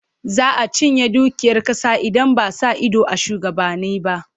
Za a cinye dukiyar ƙasa idan ba a sa ido a shugabanni ba.